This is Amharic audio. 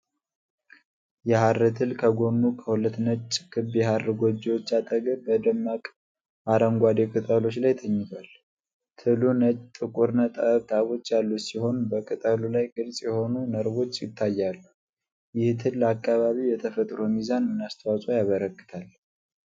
የሐር ትል ከጎኑ ከሁለት ነጭ ክብ የሐር ጎጆዎች አጠገብ በደማቅ አረንጓዴ ቅጠሎች ላይ ተኝቷል። ትሉ ጥቁር ነጠብጣቦች ያሉት ሲሆን፣ በቅጠሉ ላይ ግልጽ የሆኑ ነርቮች ይታያሉ፤ ይህ ትል ለአካባቢው የተፈጥሮ ሚዛን ምን አስተዋፅዖ ያበረክታል?